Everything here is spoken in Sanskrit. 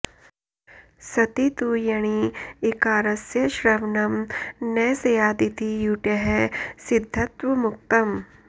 सति तु यणि ईकारस्य श्रवणं न स्यादिति युटः सिद्धत्वमुक्तम्